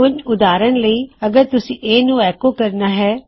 ਹੁਣ ਉਦਾਹਰਨ ਲਈ ਅਗਰ ਤੁਸੀਂ A ਨੂੰ ਐੱਕੋ ਕਰਨਾ ਹੈ